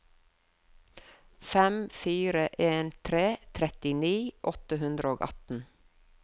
fem fire en tre trettini åtte hundre og atten